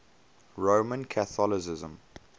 roman catholicism